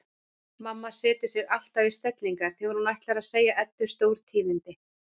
Mamma setur sig alltaf í stellingar þegar hún ætlar að segja Eddu stórtíðindi.